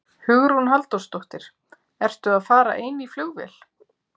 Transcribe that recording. Hugrún Halldórsdóttir: Ertu að fara ein í flugvél?